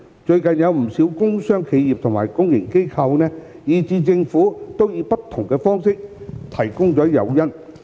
最近，不少工商企業和公營機構，以至政府都以不同方式向市民提供接種疫苗誘因。